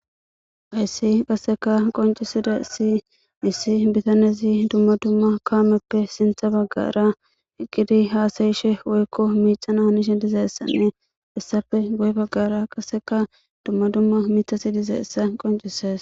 Hayssi qasseka qoncisida si issi bitanezi dumma dumma kaameppe sintha baggara eqqidi haasayishe woykko miicana hanishi dizeessanne issafe goye baggara qaseka dumma dumma miithasi dizayssa qoncisees